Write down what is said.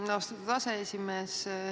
Aitäh, austatud aseesimees!